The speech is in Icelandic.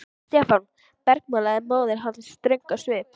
Stefán! bergmálaði móðir hans ströng á svip.